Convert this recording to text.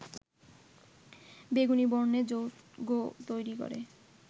বেগুনী বর্ণের যৌগ তৈরি করে